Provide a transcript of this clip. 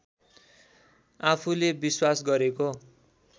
आफुले विश्वास गरेको